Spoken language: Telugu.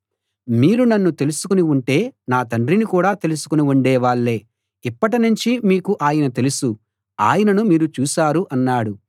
మీరు నన్ను తెలుసుకుని ఉంటే నా తండ్రిని కూడా తెలుసుకుని ఉండేవాళ్ళే ఇప్పటినుంచి మీకు ఆయన తెలుసు ఆయనను మీరు చూశారు అన్నాడు